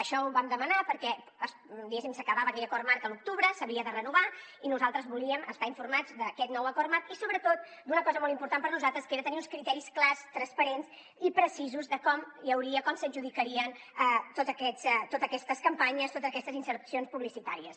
això ho vam demanar perquè diguéssim s’acabava aquell acord marc a l’octubre s’havia de renovar i nosaltres volíem estar informats d’aquest nou acord marc i sobretot d’una cosa molt important per nosaltres que era tenir uns criteris clars transparents i precisos de com hi hauria com s’adjudicarien totes aquestes campanyes totes aquestes insercions publicitàries